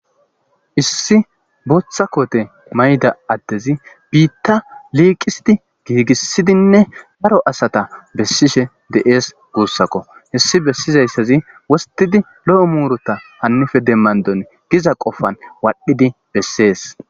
issi bootha koote mayda addezi biitta liiqisidi giigissidinne baro asata bessishe deees guussako hissi bessizayssazi wostidi lo7o muurota hannife demmandon giza qofan waadhdhidi bessees